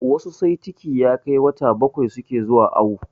Wasu sai ciki ya kai wata bakwai suke zuwa awo